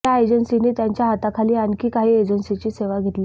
या एजंसींनी त्यांच्या हाताखाली आणखी काही एजंसीची सेवा घेतली आहे